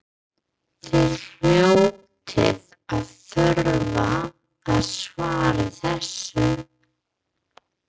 Þið hljótið að þurfa að svara þessu?